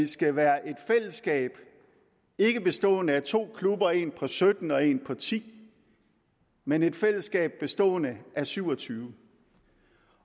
skal være et fællesskab ikke bestående af to klubber en på sytten og en på ti men et fællesskab bestående af syv og tyve